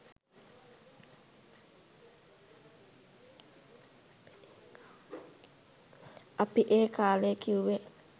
අපි ඒ කාලෙ කිව්වෙ